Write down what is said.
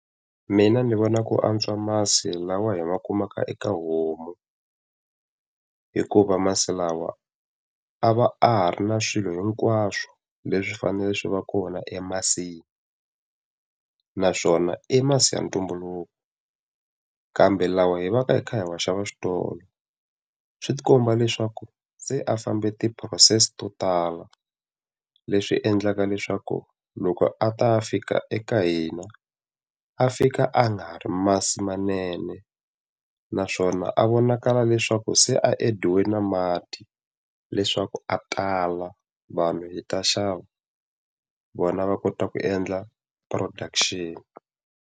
Mina ni vona ku antswa masi lawa hi va kumaka eka homu. Hikuva masiku lawa a va a ha ri na swilo hinkwaswo leswi faneleke swi va kona emasini, naswona i masi ya ntumbuluko. Kambe lawa hi va ka hi kha hi wa xava switolo, swi ti komba leswaku se a fambe ti-process to tala. Leswi endlaka leswaku loko a ta fika eka hina, a fika a nga ha ri masi manene. Naswona a vonakala leswaku se a adiwe na mati leswaku a tala vanhu hi ta xava, vona va kota ku endla production.